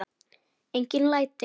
Engin læti.